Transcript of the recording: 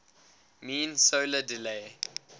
mean solar day